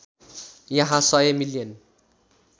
यहाँ १०० मिलियन